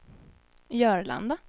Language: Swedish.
Jörlanda